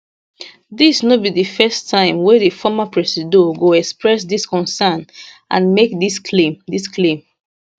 dis no be di first time wey di former presido go express dis concern and make dis claim dis claim